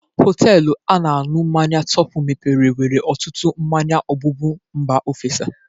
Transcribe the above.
Hoteelu a na-añụ mmanya Topi mepere nwere ọtụtụ mmanya ogbụgbụ mba ofesi.